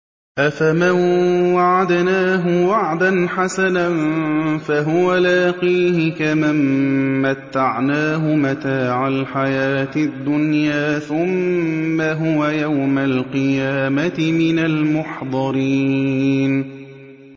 أَفَمَن وَعَدْنَاهُ وَعْدًا حَسَنًا فَهُوَ لَاقِيهِ كَمَن مَّتَّعْنَاهُ مَتَاعَ الْحَيَاةِ الدُّنْيَا ثُمَّ هُوَ يَوْمَ الْقِيَامَةِ مِنَ الْمُحْضَرِينَ